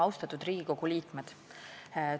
Austatud Riigikogu liikmed!